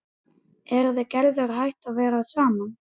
Eruð þið Gerður hætt að vera saman?